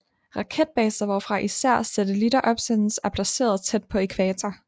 Raketbaser hvorfra især satellitter opsendes er placeret tæt på ækvator